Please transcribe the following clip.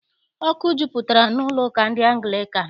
Ọkụ jupụtara n'ụlọụka ndị Anglịkan.